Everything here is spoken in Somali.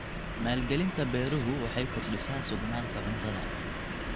Maalgelinta beeruhu waxay kordhisaa sugnaanta cuntada.